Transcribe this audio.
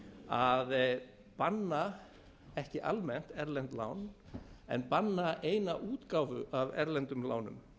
að banna ekki almennt erlend lán en banna eina útgáfu af erlendum lánum